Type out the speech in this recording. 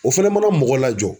O fɛnɛ mana mɔgɔ lajɔ.